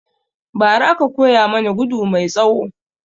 Ba ra aka koya mana gudu mai tsawo